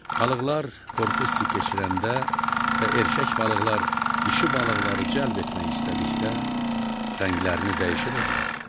Balıqlar qorxu hissi keçirəndə və erkək balıqlar dişi balıqları cəlb etmək istədikdə rənglərini də dəyişə bilirlər.